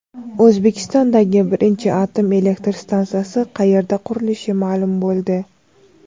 O‘zbekistondagi birinchi atom elektr stansiyasi qayerda qurilishi ma’lum bo‘ldi.